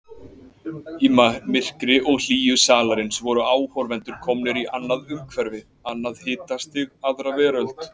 Í myrkri og hlýju salarins voru áhorfendur komnir í annað umhverfi, annað hitastig, aðra veröld.